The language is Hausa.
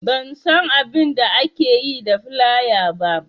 Ban san abainda ake yi da filaya ba